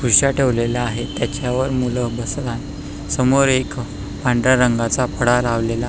उश्या ठेवलेल्या आहेत त्याच्यावर मुल बसत आहेत समोर एक पांढऱ्या रंगाचा फळा लावलेला--